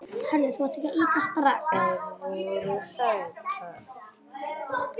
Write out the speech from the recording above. Þær voru sætar